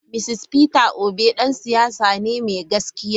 Mr Peter obi dan siyasa ne mai gaskiya.